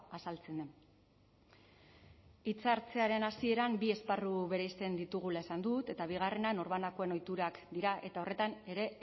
azaltzen den hitza hartzearen hasieran bi esparru bereizten ditugula esan dut eta bigarrena norbanakoen ohiturak dira eta horretan ere